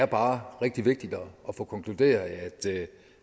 bare er rigtig vigtigt at få konkluderet